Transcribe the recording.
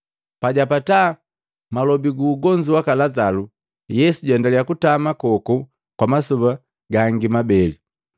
Pajapata malobi gu ugonzu waka Lazalu, Yesu jwaendalia kutama koku kwa masoba gangi mabeli.